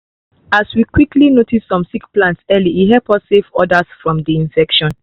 as we quickly notice some sick plants early e help us save others from the infection